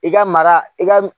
I ka mara i ka